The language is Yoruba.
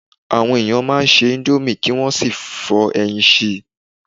Àwọn ènìyàn a máa se íńdómì kí wọ́n sì fọ́ ẹyin sí í.